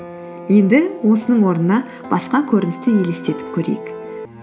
енді осының орнына басқа көріністі елестетіп көрейік